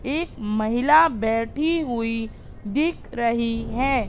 एक महिला बैठी हुई दिख रही है।